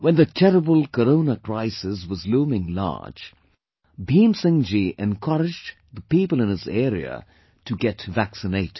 When the terrible Corona crisis was looming large, Bhim Singh ji encouraged the people in his area to get vaccinated